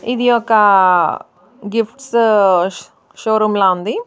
ఇది ఒక gifts showroom లా ఉంది.